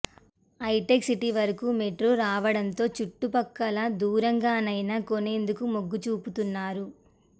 హైటెక్సిటీ వరకు మెట్రో రావడంతో చుట్టు పక్కల దూరంగానైనా కొనేందుకు మొగ్గుచూపుతున్నారు